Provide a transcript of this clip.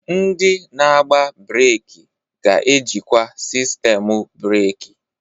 Ndị na-agba breeki ga-ejikwa sistemu breeki.